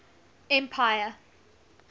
empire